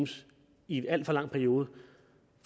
i en alt for lang periode